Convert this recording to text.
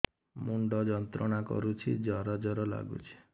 ମୁଣ୍ଡ ଯନ୍ତ୍ରଣା କରୁଛି ଜର ଜର ଲାଗୁଛି